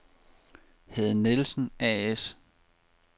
Hede Nielsen A/S